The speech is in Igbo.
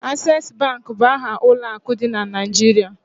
Ases Bank bụ aha ụlọ akụ dị na Naịjirịa